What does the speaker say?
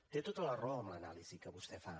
té tota la raó amb l’anàlisi que vostè fa